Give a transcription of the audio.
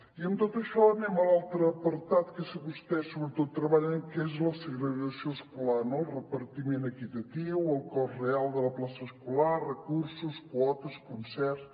i amb tot això anem a l’altre apartat que vostès sobretot treballen que és la segregació escolar no el repartiment equitatiu el cost real de la plaça escolar recursos quotes concerts